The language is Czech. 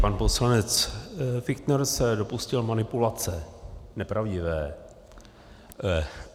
Pan poslanec Fichtner se dopustil manipulace nepravdivé.